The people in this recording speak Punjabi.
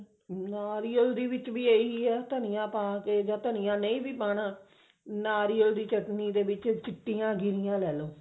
ਨਾਰੀਅਲ ਦੇ ਵਿੱਚ ਵੀ ਇਹੀ ਹੈ ਧਨੀਆ ਨਹੀਂ ਵੀ ਪਾਉਣਾ ਨਾਰੀਅਲ ਦੀ ਚਟਨੀ ਦੇ ਵਿੱਚ ਚਿੱਟੀਆਂ ਗਿਰੀਆਂ ਲੈਲੋ